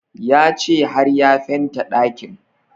Ya ce har ya fenta ɗakin